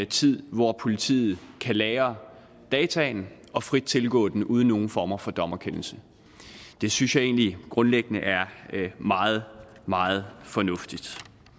tid hvor politiet kan lagre dataene og frit tilgå dem uden nogen form for dommerkendelse det synes jeg egentlig grundlæggende er meget meget fornuftigt